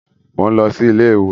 Mo ń lọ sí ilé iwosan